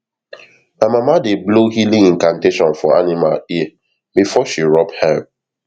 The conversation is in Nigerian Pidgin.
my mama dey blow healing incantation for animal ear before she rub herb